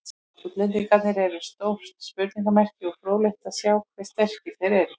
Útlendingarnir eru stórt spurningamerki og fróðlegt að sjá hve sterkir þeir eru.